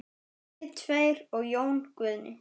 Við tveir og Jón Guðni.